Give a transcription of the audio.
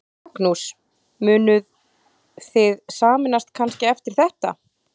Magnús: Munuð þið sameinast kannski eftir þetta?